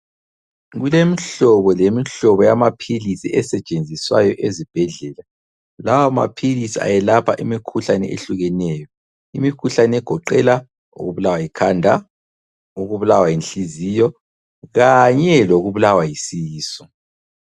Kulemihlobo lemihlobo yamaphilisi esetshenziswayo ezibhedlela. Lawa maphilisi ayelapha imikhuhlane ehlukeneyo . Imikhuhlane egoqela ukubulawa yikhanda, ukubulawa yinhliziyo kanye lokubulawa yisisu.